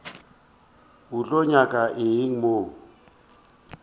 o tlo nyaka eng mo